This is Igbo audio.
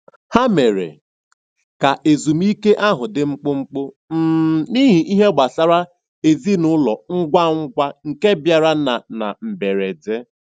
Ha mere ka ezumike ahụ dị mkpụmkpụ um n'ihi ihe gbasara ezinụlọ ngwa ngwa nke bịara na na mberede.